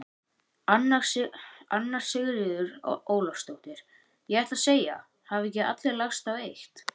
Anna Sigríður Ólafsdóttir: Ég ætlaði að segja: Hafa ekki allir lagst á eitt?